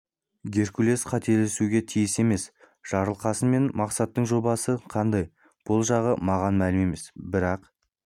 геркулес қателесуге тиіс емес жарылқасын мен мақсаттың жобасы қандай бұл жағы маған мәлім емес бірақ